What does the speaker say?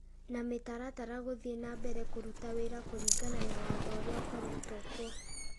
na mĩtaratara gũthiĩ na mbere kũruta wĩra kũringana na watho ũrĩa ũkoretwo kuo.